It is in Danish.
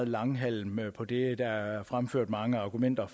langhalm på det der er fremført mange argumenter